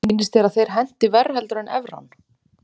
Sýnist þér að þeir henti verr heldur en evran?